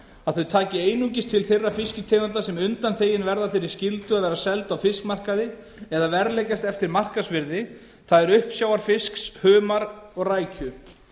að þau taki einungis til þeirra fisktegunda sem undanþegin verði þeirri skyldu að vera seld á fiskmarkaði eða verðleggjast eftir markaðsvirði það er uppsjávarfisks humars og rækju